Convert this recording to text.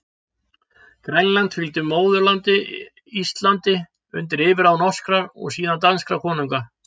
Grænland fylgdi móðurlandinu Íslandi undir yfirráð norskra, og síðan danskra konunga.